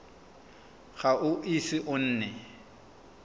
ga o ise o nne